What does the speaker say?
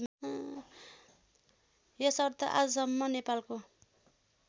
यसर्थ आजसम्म नेपालको